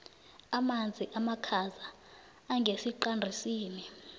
amanzi amakhaza angesiqandisini